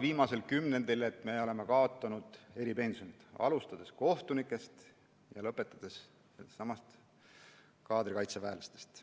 viimasel kümnendil selles suunas, et oleme kaotanud eripensionid, alustades kohtunikest ja lõpetades kaadrikaitseväelastega?